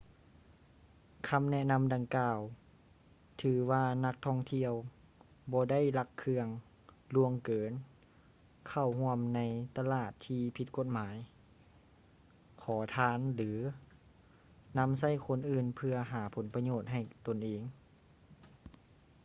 ຄຳແນະນຳດັ່ງກ່າວ ຖືວ່ານັກທ່ອງທ່ຽວບໍ່ໄດ້ລັກເຄື່ອງ ລ່ວງເກີນ ເຂົ້າຮ່ວມໃນຕະຫຼາດທີ່ຜິດກົດໝາຍ ຂໍທານ ຫຼື ນຳໃຊ້ຄົນອື່ນເພື່ອຫາຜົນປະໂຫຍດໃຫ້ຕົນເອງ